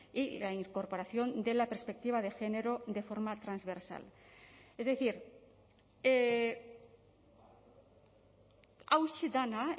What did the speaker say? y la incorporación de la perspectiva de género de forma transversal es decir hauxe dena